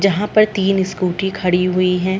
जहाँ पर तीन स्कूटी खड़ी हुई हैं।